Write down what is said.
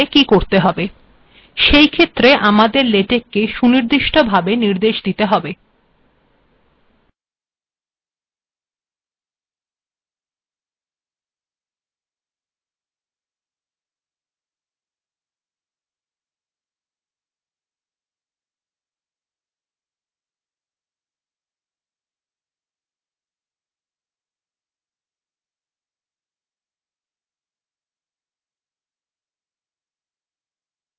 সেইক্ষেত্রে আমােদর েলেটকেক সুিনর্িদষ্ট ভােব িনর্েদশ িদেত হেব উদাহরণস্বরূপ আলফা িবপরীত স্ল্যাশ্ স্েপস্ a েলখা যাক কম্পাইল্ করা যাক দেখুন এখানে একটি স্পেস দেখা যাচ্ছে